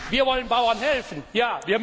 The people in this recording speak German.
hat. Wir wollen den Bauern helfen,